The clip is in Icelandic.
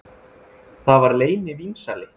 Það var leynivínsali